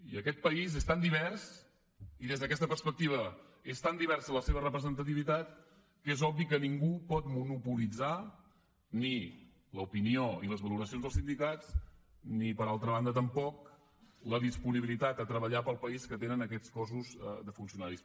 i aquest país és tan divers i des d’aquesta perspectiva és tan diversa la seva representativitat que és obvi que ningú pot monopolitzar ni l’opinió ni les valoracions del sindicat ni per altra banda tampoc la disponibilitat a treballar pel país que tenen aquests cossos de funcionaris